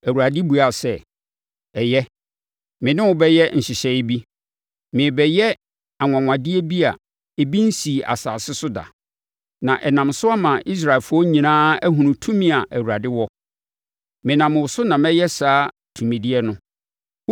Awurade buaa sɛ, “Ɛyɛ, me ne wo bɛyɛ nhyehyɛeɛ bi. Merebɛyɛ anwanwadeɛ bi a ebi nsii asase so da, na ɛnam so ama Israelfoɔ nyinaa ahunu tumi a Awurade wɔ. Menam wo so na mɛyɛ saa tumideɛ no.